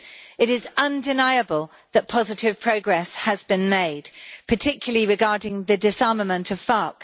It is undeniable that positive progress has been made, particularly regarding the disarmament of FARC.